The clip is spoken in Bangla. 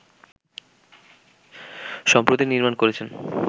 সম্প্রতি নির্মাণ করেছেন